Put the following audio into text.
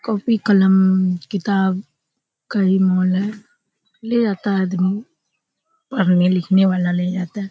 Copy कलम किताब का मन है ले आता है आदमी पढ़ने लिखने वाला ले आता है।